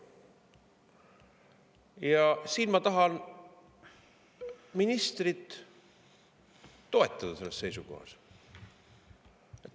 Siinkohal ma tahan ministrit toetada selles seisukohas.